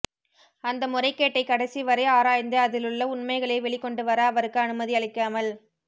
அந்த முறைகேட்டை கடைசி வரை ஆராய்ந்து அதிலுள்ள உண்மைகளை வெளிக்கொண்டு வர அவருக்கு அனுமதி அளிக்காமல்